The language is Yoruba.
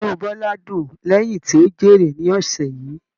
Inú Bọla dùn lẹyìn tí o jèrè ní ọsẹ yìí.